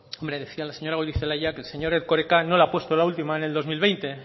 decía la señora goirizelaia que el señor erkoreka no le ha puesto la última en el dos mil veinte